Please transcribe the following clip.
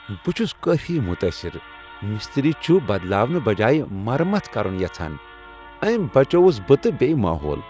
بہٕ چھس کٲفی متٲثر مِسترۍ چھُ بدلاونہٕ بجایہ مرمت کرُن یژھان۔ أمۍ بچووُس بہٕ تہٕ بییہ ماحول۔